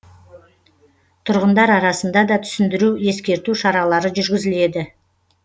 тұрғындар арасында да түсіндіру ескерту шаралары жүргізіледі